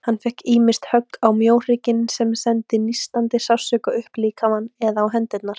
Hann fékk ýmist högg á mjóhrygginn, sem sendi nístandi sársauka upp líkamann, eða á hendurnar.